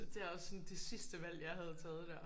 Det er også sådan det sidste valg jeg havde taget der